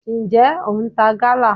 njẹ o ń ta gala?